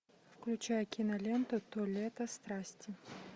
включай киноленту то лето страсти